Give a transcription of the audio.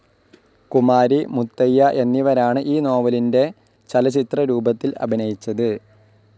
കുമാരി, മുത്തയ്യ എന്നിവരാണ് ഈ നോവലിന്റെ ചലച്ചിത്രരൂപത്തിൽ അഭിനയിച്ചത്.